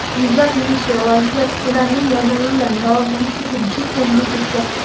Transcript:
Yuzlab venesuelaliklar ularning yordami bilan davolanish uchun chet elga ketgan.